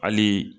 Hali